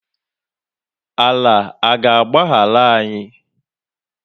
Ala aga agbaghara anyị?